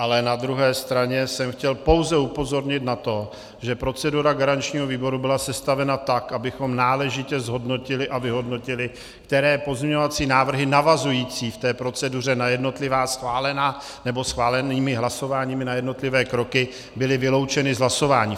Ale na druhé straně jsem chtěl pouze upozornit na to, že procedura garančního výboru byla sestavena tak, abychom náležitě zhodnotili a vyhodnotili, které pozměňovací návrhy navazující v té proceduře na jednotlivá schválená nebo schválenými hlasováními na jednotlivé kroky byly vyloučeny z hlasování.